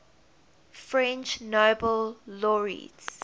french nobel laureates